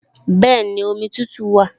Bẹ́ẹ̀ni, omi tútù wà